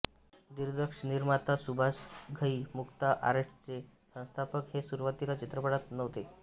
दिग्दर्शकनिर्माता सुभाष घई मुक्ता आर्ट्सचे संस्थापक हे सुरुवातीला चित्रपटात नव्हते